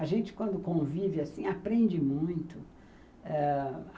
A gente, quando convive assim, aprende muito. Ãh